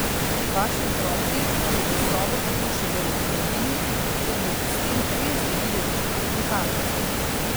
Vaši otroci pa bodo sobo tako še bolj vzljubili, ker bodo s tem res dobili občutek pripadnosti.